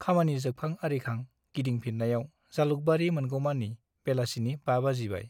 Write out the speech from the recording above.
खामानि जोबखां आरिखां गिदिंफिन्नायाव जालुकबारी मोनगौमानि बेलासिनि 5 बाजिबाय ।